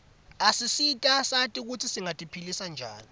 asisita sati kutsi singati philisa njani